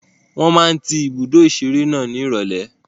Wọ́n máa ń tí ibùdó ìṣeré náà ní ìrọ̀lẹ́.